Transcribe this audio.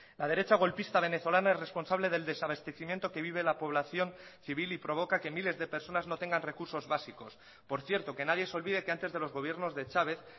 la derecha golpista venezolana es responsable del desabastecimiento que vive la población civil y provoca que miles de personas no tengan recursos básicos por cierto que nadie se olvide que antes de los gobiernos de chávez